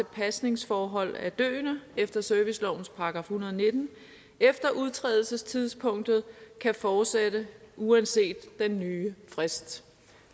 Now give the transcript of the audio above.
pasningsforhold af døende efter servicelovens § en hundrede og nitten efter udtrædelsestidspunktet fortsætte uanset den nye frist